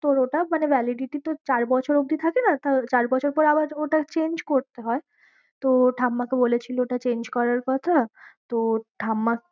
তোর ওটা মানে validity তো চার বছর অবধি থাকে না। চার বছর পর আবার ওটা change করতে হয়। তো ঠাম্মাকে বলেছিলো ওটা change করার কথা। তো ঠাম্মা